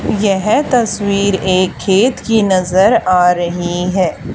येह तस्वीर एक खेत की नजर आ रही है।